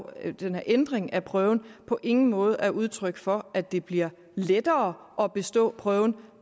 at den her ændring af prøven på ingen måde er udtryk for at det bliver lettere at bestå prøven